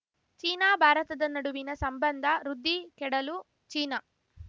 China ಭಾರತದ ನ‌ಡುವಿನ ಸಂಬಂಧ ವೃದ್ಧಿ ಕೆಡಲು ಚೀನಾ